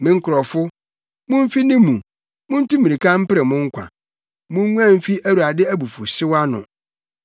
“Me nkurɔfo, mumfi ne mu! Muntu mmirika mpere mo nkwa! Munguan mfi Awurade abufuwhyew ano.